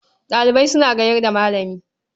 Ɗalibai suna gayar da Malami.